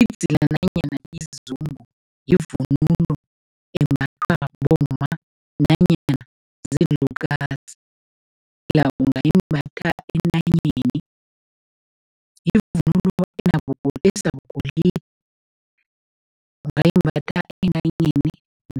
Idzila nanyana izungu yivunulo embathwa bomma nanyana ziinlukazi ungayimbatha entanyeni. Yivunulo esabugolide, ungayimbatha entayeni